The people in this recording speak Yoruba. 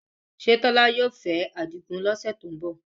Ṣé Tola yóò fẹ́ Adigun ní ọ̀sẹ̀ tó ń bọ̀?